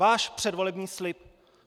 Váš předvolební slib!